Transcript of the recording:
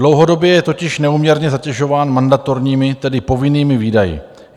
Dlouhodobě je totiž neúměrně zatěžován mandatorními, tedy povinnými výdaji.